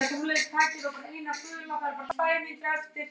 Þú skilar kveðju frá mér.